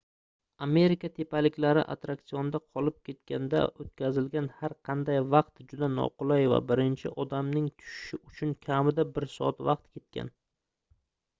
amerika tepaliklari atrraksionida qolib ketganda oʻtkazilgan har qanday vaqt juda noqulay va birinchi odamning tushishi uchun kamida bir soat vaqt ketgan